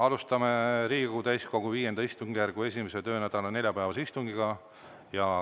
Alustame Riigikogu täiskogu V istungjärgu 1. töönädala neljapäevast istungit.